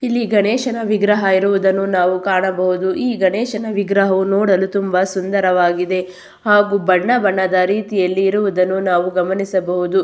ಇಲ್ಲಿ ಗಣೇಶನ ವಿಗ್ರಹ ಇರುವುದನ್ನು ನಾವು ಕಾಣಬಹುದು ಈ ಗಣೇಶನ ವಿಗ್ರಹ ನೋಡಲು ತುಂಬಾ ಸುಂದರವಾಗಿದೆ ಹಾಗು ಬಣ್ಣ ಬಣ್ಣದ ರೀತಿಯಲ್ಲಿ ಇರುವುದನ್ನು ನಾವು ಗಮನಿಸಬಹುದು.